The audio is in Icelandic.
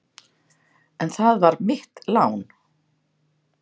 En það var mitt lán.